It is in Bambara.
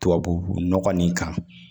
Tubabu nɔgɔ nin kan